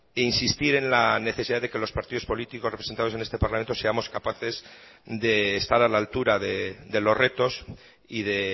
e insistir en la necesidad de que los partidos políticos representados en este parlamento seamos capaces de estar a la altura de los retos y de